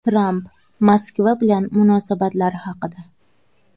Tramp Moskva bilan munosabatlari haqida.